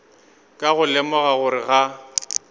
ka go lemoga gore ga